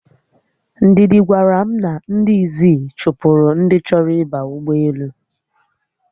Ndidi gwara m na ndị Izzi chụpụrụ ndi choro ịba ugboelu